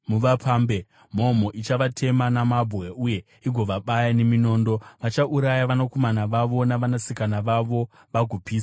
Mhomho ichavatema namabwe uye igovabaya neminondo; vachauraya vanakomana vavo navanasikana vavo vagopisa dzimba dzavo.